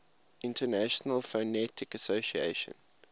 international phonetic association